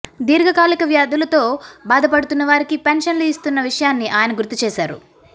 దీర్ఘకాలిక వ్యాధులతో బాధపడుతున్నవారికి పెన్షన్లు ఇస్తున్న విషయాన్ని ఆయన గుర్తు చేశారు